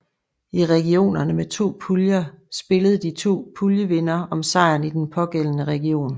I regionerne med to puljer spillede de to puljevindere om sejren i den pågældende region